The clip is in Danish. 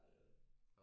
Ja det er det